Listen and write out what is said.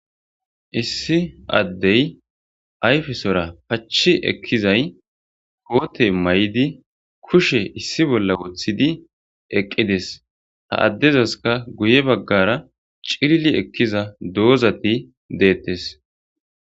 issi addey ayfesora pachi ekkizay koote may7idi kushe issi bolla woththidi eqqides ta addezaska guye baggara cirili ekkiza doozati deettes